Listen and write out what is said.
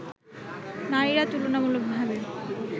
নারীরা তুলনামূলক ভাবে